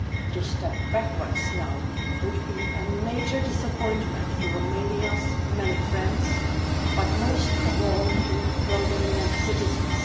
To step backwards now would be a major disappointment to Romania's many friends, but most of all to Romanian citizens.